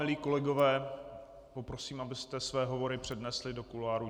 Milí kolegové, poprosím, abyste své hovory přenesli do kuloárů.